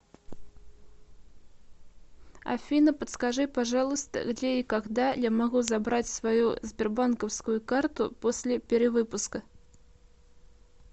афина подскажи пожалуйста где и когда я могу забрать свою сбербанковскую карту после перевыпуска